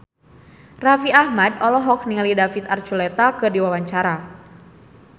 Raffi Ahmad olohok ningali David Archuletta keur diwawancara